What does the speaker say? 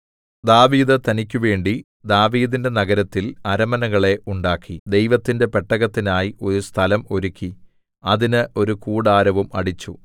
ദാവീദ് തനിക്കുവേണ്ടി ദാവീദിന്റെ നഗരത്തിൽ അരമനകളെ ഉണ്ടാക്കി ദൈവത്തിന്റെ പെട്ടകത്തിനായി ഒരു സ്ഥലം ഒരുക്കി അതിന് ഒരു കൂടാരവും അടിച്ചു